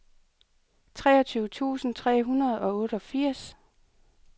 treogtyve tusind tre hundrede og otteogfirs